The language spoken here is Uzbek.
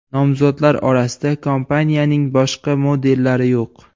Nomzodlar orasida kompaniyaning boshqa modellari yo‘q.